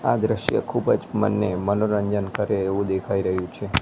આ દ્રશ્ય ખૂબ જ મનને મનોરંજન કરે એવું દેખાય રહ્યું છે.